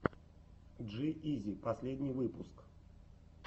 джи изи последний выпуск